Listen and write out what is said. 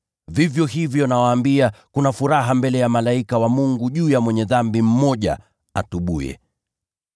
Vivyo hivyo, nawaambia, kuna furaha mbele ya malaika wa Mungu juu ya mwenye dhambi mmoja atubuye.”